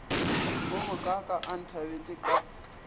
wo mokaaka a nthabetše ka